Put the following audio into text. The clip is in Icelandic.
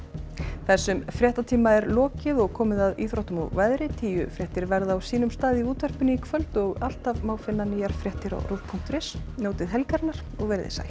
þessum fréttatíma er lokið og komið að íþróttum og veðri tíufréttir verða á sínum stað í útvarpinu í kvöld og alltaf má finna nýjar fréttir á rúv punktur is njótið helgarinnar og veriði sæl